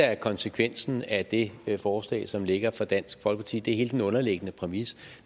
er konsekvensen af det forslag som ligger fra dansk folkeparti det er hele den underliggende præmis